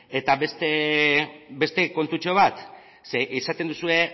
eta beste kontutxo bat esaten duzue